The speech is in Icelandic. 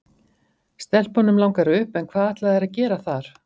Stelpunum langar upp en hvað ætla þær að gera þar?